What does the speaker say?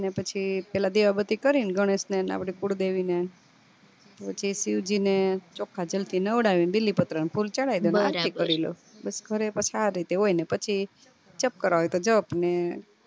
ને પછી પેલા દિવા બત્તી કરીને ગણેશ ને ને આપડી કુળ દેવી ને પછી શિવજીને ચોખા જલ થી નવડાવયે ને બીલી પત્ર ને ફૂલ ચડાવી કરી લઉં પછી ઘરે પાછુ આરીતે હોય ને પછી જપ કરવા